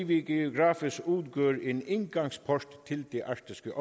vi geografisk udgør en indgangsport til det arktiske